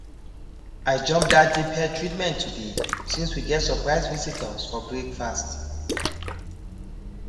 i jump that deep hair treatment today since we get surprise visitors for breakfast